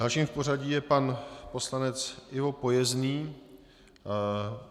Dalším v pořadí je pan poslanec Ivo Pojezný.